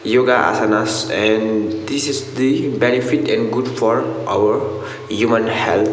yoga asanas and this is the benefit and good for our human health.